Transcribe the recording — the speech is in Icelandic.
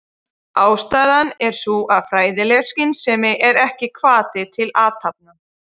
Ástæðan er sú að fræðileg skynsemi er ekki hvati til athafna.